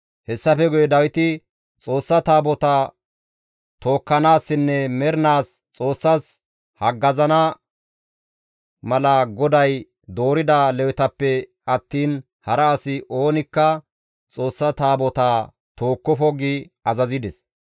Hessafe guye Dawiti, «Xoossa Taabotaa tookkanaassinne mernaas Xoossaas haggazana mala GODAY doorida Lewetappe attiin hara asi oonikka Xoossa Taabotaa tookkofo» gi azazides.